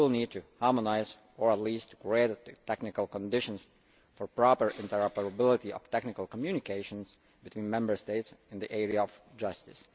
We will need to harmonise or at least to create the technical conditions for the proper interoperability of technical communications between Member States in the area of justice.